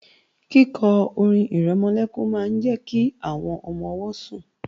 Kíkọ orin-ìrẹmọlẹ́kún máa ń jẹ́ kí àwọn ọmọ-ọwọ́ sùn